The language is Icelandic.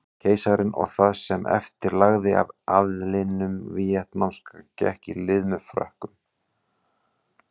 Keisarinn og það sem eftir lifði af aðlinum víetnamska gekk í lið með Frökkum.